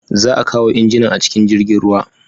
Za a kawo injinan a cikin jirgin ruwa.